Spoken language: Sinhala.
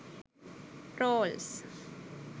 rolls